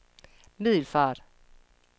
Middelfart